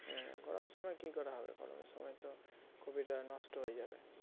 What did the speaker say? গরমের সময় কী করে হবে? গরমের সময় তো কপিটা নষ্ট হয়ে যাবে